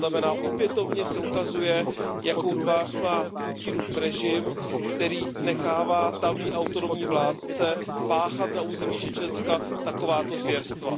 To znamená, opětovně se ukazuje, jakou tvář má Putinův režim, který nechává tamní autonomní vládce páchat na území Čečenska takováto zvěrstva.